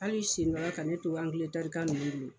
Hali ka ne to Angiletɛri kɛ nunnu bolo